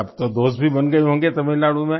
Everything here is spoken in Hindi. तो अब तो दोस्त भी बन गए होंगे तमिलनाडु में